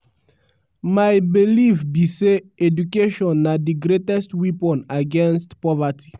"my belief be say education na di greatest weapon against poverty.